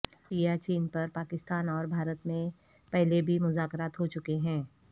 سیاچین پر پاکستان اور بھارت میں پہلے بھی مذاکرات ہوچکے ہیں